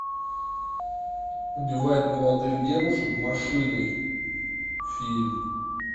убивает молодых девушек машиной фильм